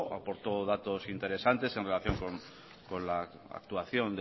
aportó datos interesantes en relación con la actuación